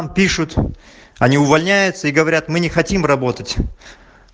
а пишут они увольняются и говорят мы не хотим работать